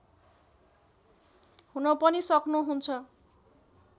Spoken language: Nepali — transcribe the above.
हुन पनि सक्नुहुन्छ